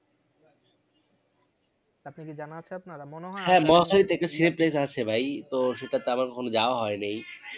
আপনি কি জানা আছে আপনার? মনে হয় হ্যাঁ মহাখালী তে একটা আছে ভাই তো সেটাতে আমার কখনো যাওয়া হয় নাই